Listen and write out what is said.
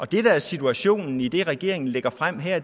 det der er situationen i det regeringen lægger frem her